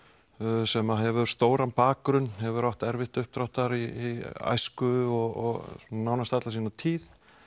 sem hefur stóran bakgrunn hefur átt erfitt uppdráttar í æsku og nánast alla sína tíð